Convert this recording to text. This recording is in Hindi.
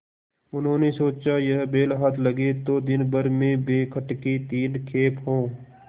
उन्होंने सोचा यह बैल हाथ लगे तो दिनभर में बेखटके तीन खेप हों